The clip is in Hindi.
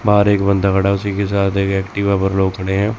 बाहर एक बंदा खड़ा है। उसी के साथ एक एक्टिवा पर लोक खड़े हैं।